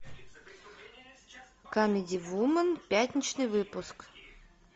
камеди вумен пятничный выпуск